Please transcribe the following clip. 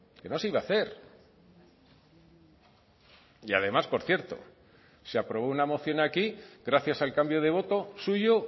que no se iba a hacer y además por cierto se aprobó una moción aquí gracias al cambio de voto suyo